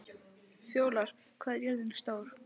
Fjólar, hvað er jörðin stór?